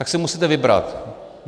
Tak si musíte vybrat.